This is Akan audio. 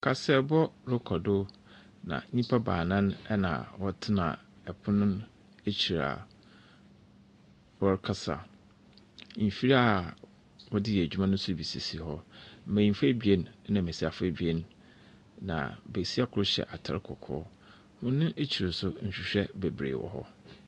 Kaseɛbɔ rekɔ do na nnipa baanan na ɛtena pono n’akyiri a wɔrekasa. Mfiri a wɔde yɛ adwuma no nso bi sisi hɔ. Mmenyinfoɔ abien na mmesiafo abien na besia koro hyɛ ataadeɛ kɔkɔɔ ɛno akyiri nso nhwehwɛ bebree wɔ hɔ.